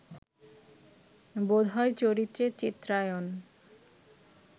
বোধ হয় চরিত্রের চিত্রায়ণ